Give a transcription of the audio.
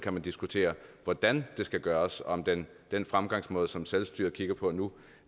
diskutere hvordan det skal gøres og om den den fremgangsmåde som selvstyret kigger på nu